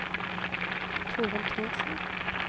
Torill Thorsen